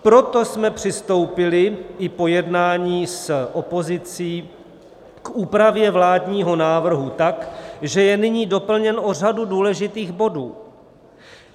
Proto jsme přistoupili i po jednání s opozicí k úpravě vládního návrhu tak, že je nyní doplněn o řadu důležitých bodů.